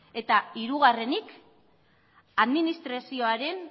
eta hirugarrenik administrazioaren